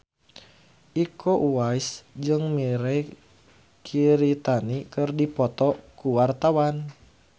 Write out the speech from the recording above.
Iko Uwais jeung Mirei Kiritani keur dipoto ku wartawan